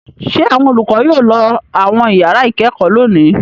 Ṣé àwọn olùkọ́ yóò lọ àwọn ìyàrá-ìkẹ́kọ̀ọ́ lónìí?